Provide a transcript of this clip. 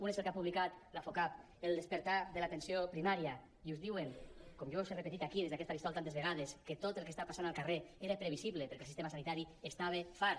un és el que ha publicat el focap el despertar de l’atenció primària i us diuen com jo us he repetit aquí des d’aquest faristol tantes vegades que tot el que està passant al carrer era previsible perquè el sistema sanitari n’estava fart